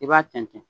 I b'a tɛntɛn